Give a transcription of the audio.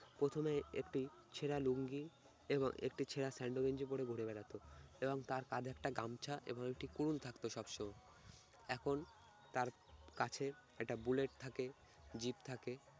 প্রথমে একটি ছেঁড়া লুঙ্গি এবং একটি ছেড়া সেন্ডো গেঞ্জি পরে ঘুরে বেড়াতো এবং তার কাঁধে একটা গামছা এবং একটি কুড়োল থাকত সবসময়। এখন তার কাছে একটা bullet থাকে jeep থাকে।